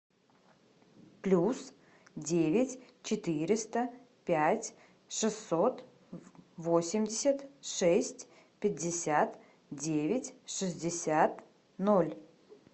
плюс девять четыреста пять шестьсот восемьдесят шесть пятьдесят девять шестьдесят ноль